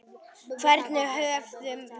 Hvern höfðum við?